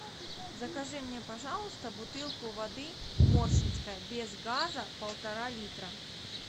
закажи мне пожалуйста бутылку воды моршинская без газа полтора литра